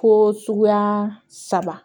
Fo suguya saba